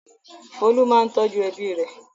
Folú máa ń tọ́jú ẹbí rẹ̀.